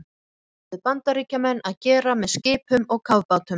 Það ætluðu Bandaríkjamenn að gera með skipum og kafbátum.